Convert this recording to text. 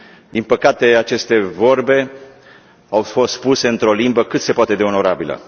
Din păcate, aceste vorbe au fost spuse într o limbă cât se poate de onorabilă.